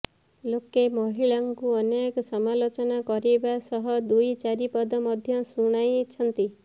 ଲୋକେ ମହିଳାଙ୍କୁ ଅନେକ ସମାଲୋଚନା କରିବା ସହ ଦୁଇ ଚାରିପଦ ମଧ୍ୟ ଶୁଣାଇଛନ୍ତି